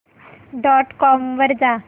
dot com वर जा